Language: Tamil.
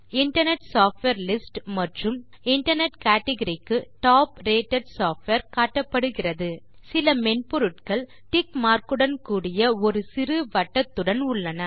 இன்டர்நெட் சாஃப்ட்வேர் லிஸ்ட் மற்றும் இன்டர்நெட் கேட்கரி க்கு டாப் ரேட்டட் சாஃப்ட்வேர் காட்டப்படுகிறது சில மென்பொருட்கள் டிக் மார்க் உடன் கூடிய ஒரு சிறுவட்டத்துடன் உள்ளன